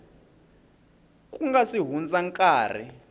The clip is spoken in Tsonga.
ku nga si hundza nkarhi